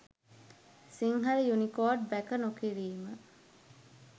Sinhala Unicode වැක නොකිරීම